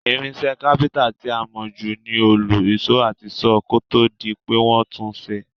Irinsé Kápẹ́ńtà ti a mó ju ni òòlù, ìsó àti saw, kótódi pe won tun sé